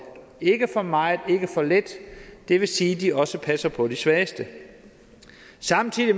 ikke for meget ikke for lidt det vil sige at de også passer på de svageste samtidig